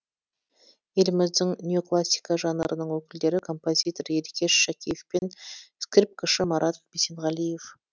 еліміздің неоклассика жанрының өкілдері композитор еркеш шакеев пен скрипкашы марат бисенғалиев